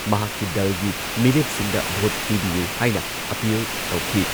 ꯃꯍꯥꯛꯀꯤ ꯗꯜꯒꯤ ꯃꯤꯔꯦꯞꯁꯤꯡꯗ ꯚꯣꯠ ꯄꯤꯕꯤꯌꯨ ꯍꯥꯏꯅ ꯑꯥꯄꯤꯜ ꯇꯧꯈꯤ ꯫